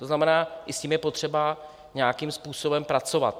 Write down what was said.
To znamená, i s tím je potřeba nějakým způsobem pracovat.